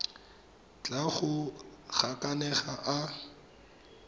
tla a go gakanega a